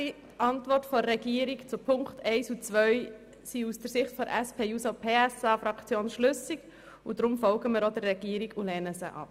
Die Antworten der Regierung zu den Punkten 1 und 2 sind aus Sicht der SP-JUSO-PSAFraktion schlüssig und deshalb folgen wir hier auch der Regierung und lehnen sie ab.